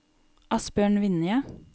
Asbjørn Vinje